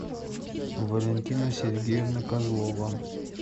валентина сергеевна козлова